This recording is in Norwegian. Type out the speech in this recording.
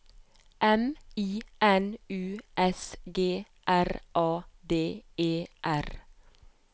M I N U S G R A D E R